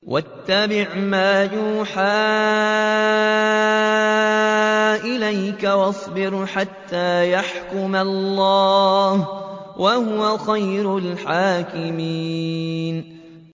وَاتَّبِعْ مَا يُوحَىٰ إِلَيْكَ وَاصْبِرْ حَتَّىٰ يَحْكُمَ اللَّهُ ۚ وَهُوَ خَيْرُ الْحَاكِمِينَ